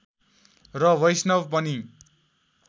र वैष्णव पनि